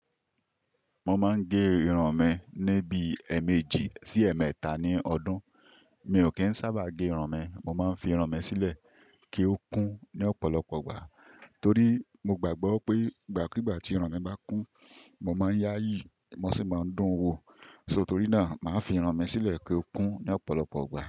Mo máa ń gé irun mi níbi ẹ̀ẹ̀méjì sí ẹ̀ẹ̀mẹ́ta ní ọdún. Mi ò kí ń sábà gé irun mi, mo máa ń fi irun mi sílẹ̀ kí ó kún ní ọ̀pọ̀lọpọ̀ gbà. Torí mo gbàgbọ́ pé ìgbàkigbà tí irun mi bá kún, mo máa ń yá yìí, mo sì máa ń dún wo. So torí náà, màá fi irun mi sílẹ̀ kí ó kún ní ọ̀pọ̀lọpọ̀ gbà.